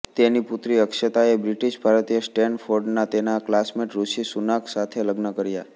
તેની પુત્રી અક્ષતાએ બ્રિટિશ ભારતીય સ્ટેનફોર્ડના તેના ક્લાસમેટ ઋષિ સુનાક સાથે લગ્ન કર્યા